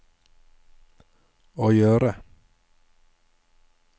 å gjøre